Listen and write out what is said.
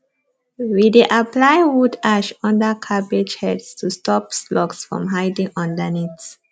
we dey apply wood ash under cabbage heads to stop slugs from hiding underneath